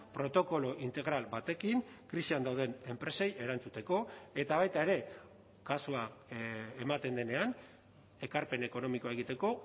protokolo integral batekin krisian dauden enpresei erantzuteko eta baita ere kasua ematen denean ekarpen ekonomikoa egiteko